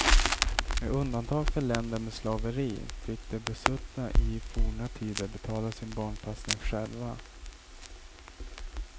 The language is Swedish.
Med undantag för länder med slaveri fick de besuttna i forna tider betala sin barnpassning själva.